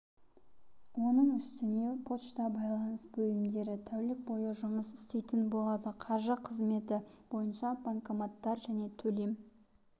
оның үстіне пошта байланыс бөлімдері тәулік бойы жұмыс істейтін болады қаржы қызметі бойынша банкоматтар және төлем